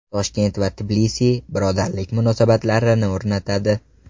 Toshkent va Tbilisi birodarlik munosabatlarini o‘rnatadi.